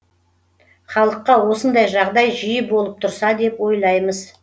халыққа осындай жағдай жиі болып тұрса деп ойлаймыз